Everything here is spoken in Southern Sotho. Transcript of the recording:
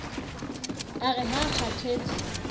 a re ha a kgathatse